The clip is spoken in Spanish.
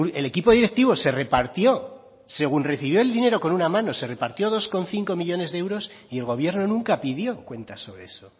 el equipo directivo se repartió según recibió el dinero con una mano se repartió dos coma cinco millónes de euros y el gobierno nunca pidió cuentas sobre eso